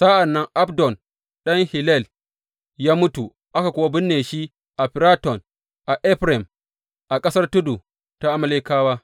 Sa’an nan Abdon ɗan Hillel ya mutu, aka kuwa binne shi a Firaton a Efraim, a ƙasar tudu ta Amalekawa.